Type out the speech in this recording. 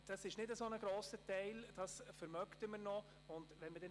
Haşim Sancar, das wäre kein so grosser Anteil, den könnten wir uns schon leisten.